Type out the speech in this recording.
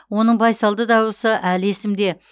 оның байсалды дауысы әлі есімде